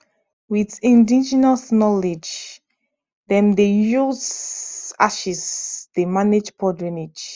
with indigenous knowledge dem dey use ashes dey manage poor drainage